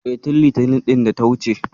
E, tin Litinin ɗin da ta wuce.